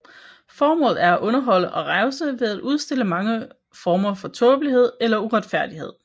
Formålet er at underholde og revse ved at udstille mange former for tåbelighed eller uretfærdighed